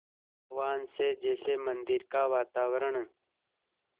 आह्वान से जैसे मंदिर का वातावरण